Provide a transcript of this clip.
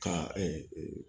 Ka